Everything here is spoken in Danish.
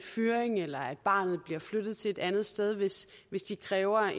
fyret eller at barnet bliver flyttet til et andet sted hvis hvis de kræver